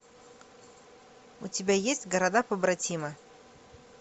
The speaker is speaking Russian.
у тебя есть города побратимы